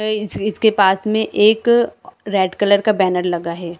ये इस इसके पास में एक रेड कलर का बैनर लगा है।